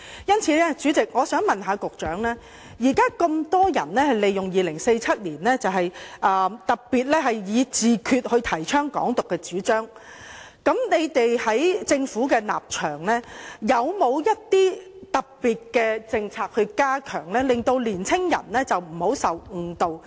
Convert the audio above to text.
因此，主席，我想問副局長，鑒於現時有那麼多人利用2047年，特別是以"自決"來提倡"港獨"的主張，在政府的立場，有否一些特別的政策，以加強令年輕人不要受誤導？